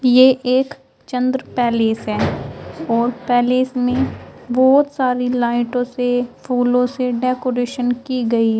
यह एक चंद्र पैलेस है और पैलेस में बहुत सारी लाइटों से फूलों से डेकोरेशन की गई है।